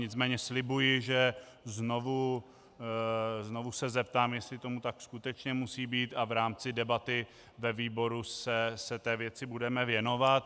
Nicméně slibuji, že se znovu zeptám, jestli tomu tak skutečně musí být, a v rámci debaty ve výboru se té věci budeme věnovat.